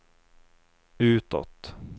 utåt